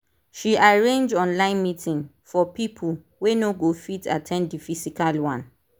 she arrange online meeting for people wey no go fit at ten d the physical one